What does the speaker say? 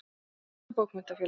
Hið íslenska bókmenntafélag